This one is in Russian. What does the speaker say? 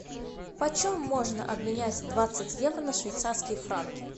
почем можно обменять двадцать евро на швейцарские франки